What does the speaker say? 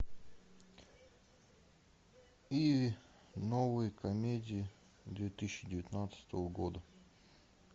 иви новые комедии две тысячи девятнадцатого года